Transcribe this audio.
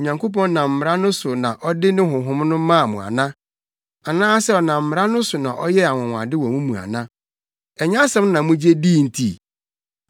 Onyankopɔn nam mmara no so na ɔde ne Honhom no maa mo ana? Anaasɛ ɔnam mmara no so na ɔyɛɛ anwonwade wɔ mo mu ana? Ɛnyɛ asɛm no gye a mugye dii nti?